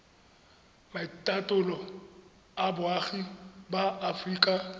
maitatolo a boagi ba aforika